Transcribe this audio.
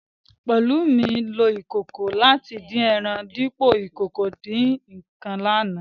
Pelumi lo ìkòkò láti dín ẹran dípo ìkòkò ìdín-ǹǹkan ní àná